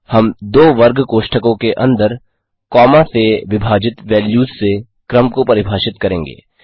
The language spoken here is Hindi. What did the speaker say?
हम दो वर्ग कोष्ठकों के अंदर कॉमा से विभाजित वेल्यूज़ से क्रम को परिभाषित करेंगे